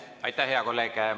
Aitäh, hea kolleeg!